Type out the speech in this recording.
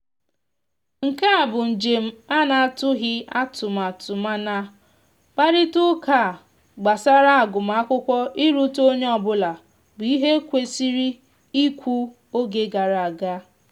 nkea bụ njem ana atụghi atụtmatụmana kparịta uka gbasara agụma akwụkwo iruta onye ọbụla bụ ihe ekwesiri ikwu oge gara aga